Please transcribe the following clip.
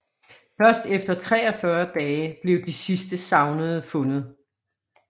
Først efter 43 dage blev de sidste savnede fundet